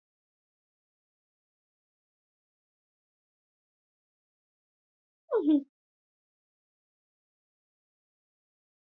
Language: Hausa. Ƙaunar soyayya tana bunƙasa, jarumai suna shiga abubuwan ban sha'awa, kuma imani yana ɗaukar haske.